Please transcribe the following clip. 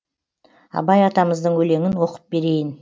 абай атамыздың өлеңін оқып берейін